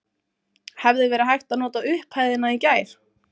Hefði verið hægt að nota upphæðina í gær?